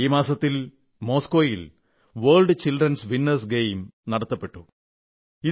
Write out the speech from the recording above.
ഈ മാസം മോസ്കോയിൽ world children's winners games world childrenസ് വിന്നേർസ് ഗെയിംസ് നടക്കുകയുണ്ടായി